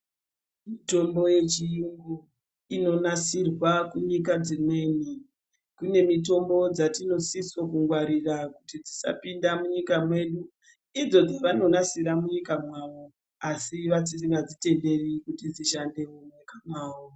Mitombo yechiyungu inonasirwa kunyika dzimweni. Kune mitombo dzatinosise kungwarira kuti dzisapinda munyika mwedu, idzo dzevanorasira munyika mavo asi vasingadzitenderi kuti dzishande munyika mavo.